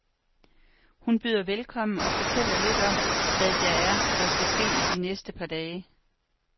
Hun byder velkommen og fortæller lidt om, hvad det er, der skal ske i de næste par dage